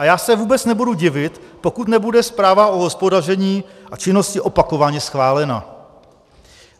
A já se vůbec nebudu divit, pokud nebude zpráva o hospodaření a činnosti opakovaně schválena.